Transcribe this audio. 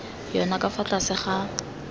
yona ka fa tlase ga